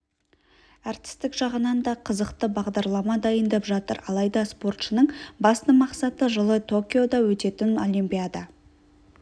әртістік жағынан да қызықты бағдарлама дайындап жатыр алайда спортшының басты мақсаты жылы токиода өтетін олимпиада